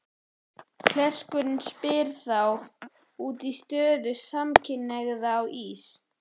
Klerkurinn spyr þá út í stöðu samkynhneigðra á Ís